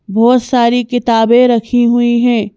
बहुत सारी किताबें रखी हुई हैं।